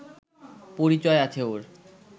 পরিচয় আছে ওর